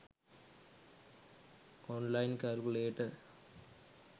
online calculator